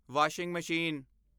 washing machine